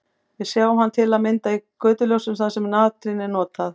Við sjáum hann til að mynda í götuljósum þar sem natrín er notað.